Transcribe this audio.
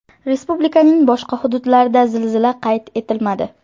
Respublikaning boshqa hududlarida zilzila qayd etilmadi.